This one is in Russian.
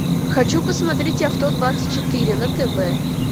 хочу посмотреть авто двадцать четыре на тв